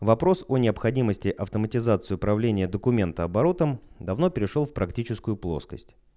вопрос о необходимости автоматизации управления документооборотом давно перешёл в практическую плоскость